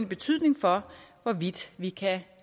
betydning for hvorvidt vi kan